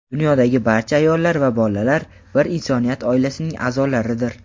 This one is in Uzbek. Dunyodagi barcha ayollar va bolalar bir insoniyat oilasining a’zolaridir.